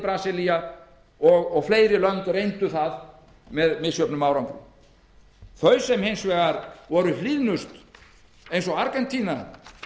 valdi brasilía og fleiri lönd reyndu það með misjöfnum árangri þau sem hins vegar voru hlýðnust eins og argentína